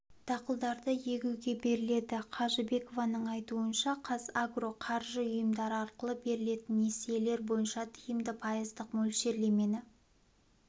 дақылдарды егуге беріледі қажыбекованың айтуынша қазагро қаржы ұйымдары арқылы берілетін несиелер бойынша тиімді пайыздық мөлшерлемені